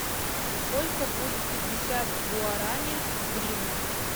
сколько будет пятьдесят гуарани в гривнах